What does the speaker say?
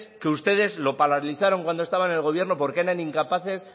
que ustedes lo paralizaron cuando estaban en el gobierno porque eran incapaces